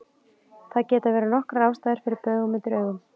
Það geta verið nokkrar ástæður fyrir baugum undir augum.